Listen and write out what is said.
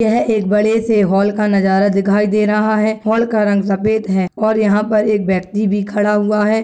यह एक बड़े से होल का नजारा दिखाई दे रहा है होल का रंग सफेद है और यहाँ पर एक व्यक्ति भी खड़ा हुआ है।